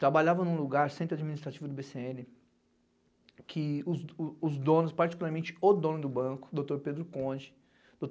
Trabalhava em um lugar, centro administrativo do bê cê ene, que os o os donos, particularmente o dono do banco, Doutor Pedro Conde.